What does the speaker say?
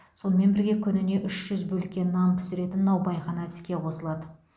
сонымен бірге күніне үш жүз бөлке нан пісіретін наубайхана іске қосылады